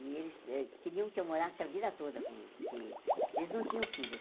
E eles eh queriam que eu morasse a vida toda com eles, porque eles não tinham filhos.